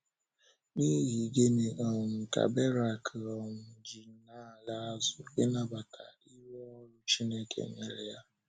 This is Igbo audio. N’ihi gịnị um ka Berak um ji na - ala azụ, ịnabata iru ọrụ Chineke nyere ya?